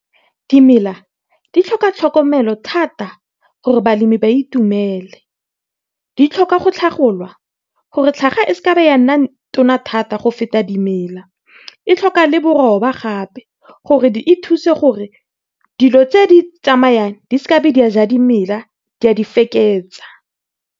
Dimela di tlhoka tlhokomelo thata gore balemi ba itumele, di tlhoka go tlhagolwa gore tlhaga e ya nna tona go feta dimela. E tlhoka le boroba gape gore e thuse gore dilo tse di tsamayang di seke di a ja dimela di a di feketsa.